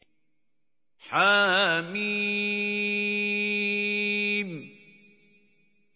حم